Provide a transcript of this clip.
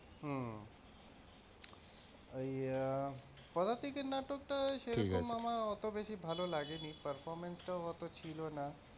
হম ওই পদাতিকের নাটক টা সেইরকম আমার ওতো বেশি ভালো লাগেনি performance টাও ওতো ছিলোনা।